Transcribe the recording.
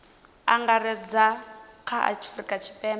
angaredza kha a afurika tshipembe